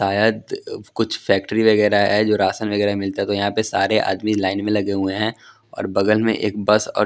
शायद कुछ फैक्ट्री वगेरा है जो राशन वगेरा मिलता तो यहां पे सारे आदमी लाइन मे लगे हुए है और बगल मे एक बस और--